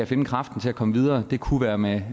finde kraften til at komme videre det kunne være med